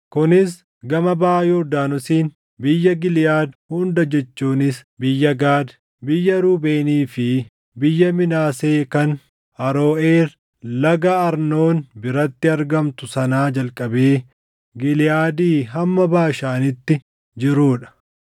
kunis gama baʼa Yordaanosiin biyya Giliʼaad hunda jechuunis biyya Gaad, biyya Ruubeenii fi biyya Minaasee kan Aroʼeer laga Arnoon biratti argamtu sanaa jalqabee Giliʼaadii hamma Baashaaniitti jiruu dha.